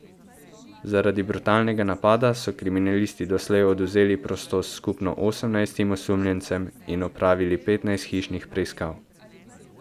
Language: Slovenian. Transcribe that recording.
Zaradi brutalnega napada so kriminalisti doslej odvzeli prostost skupno osemnajstim osumljencem in opravili petnajst hišnih preiskav.